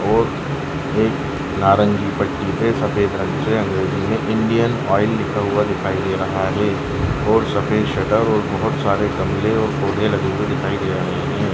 और एक नारंगी पट्टी में सफेद रंग पे अंग्रेजी में इंडियन आयल लिखा हुआ दिखा दे रहा है और सफ़ेद शटर और बहुत सारे गमले और पौधे लगे हुए दिखाई दे रहे हैं।